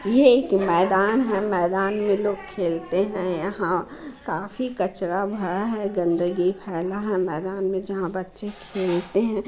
यह एक मैदान है। मैदान में लोग खेलते हैं। यहाँ काफी कचरा भरा है गन्दगी फैला है मैदान में जहाँ बच्चे खेलते हैं।